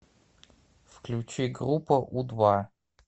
включи группа у два